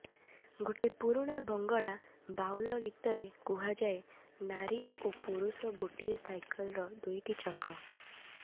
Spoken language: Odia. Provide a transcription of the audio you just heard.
ଗୋଟେ ପୁରୁଣା ବଙ୍ଗଳା ବାଊଲ ଗୀତାରେ କୁହାଯାଏ ନାରୀ ଓ ପୁରୁଷ ଗୋଟିଏ ସାଇକେଲର ଦୁଇଟି ଚକ